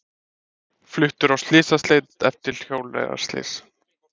Fluttur á slysadeild eftir hjólreiðaslys